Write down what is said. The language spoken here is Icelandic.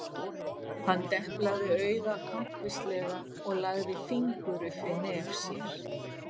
Hann deplaði auga kankvíslega og lagði fingur upp við nef sér.